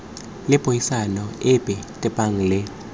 le puisano epe tebang le